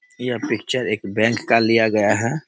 यह पिक्चर एक बैंक का लिया गया है।